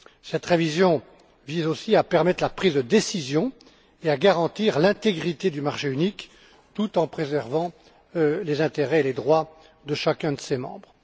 Cette révision vise aussi à permettre la prise de décisions et à garantir l'intégrité du marché unique, tout en préservant les intérêts et les droits de chacun de ses membres.